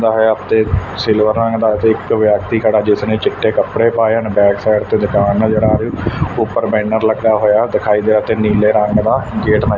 silver ਰੰਗ ਦਾ ਇੱਕ ਵਿਅਕਤੀ ਖੜਾ ਜਿਸ ਨੇ ਚਿੱਟੇ ਕੱਪੜੇ ਪਾਏ ਹਨ ਬੈਕ ਸਾਈਡ ਤੇ ਦੁਕਾਨ ਨਜ਼ਰ ਆ ਰਹੀ ਉਪਰ ਬੈਨਰ ਲੱਗਾ ਹੋਇਆ ਦਿਖਾਈ ਦੇ ਰਿਹਾ ਤੇ ਨੀਲੇ ਰੰਗ ਦਾ ਗੇਟ ਨਜ਼ਰ--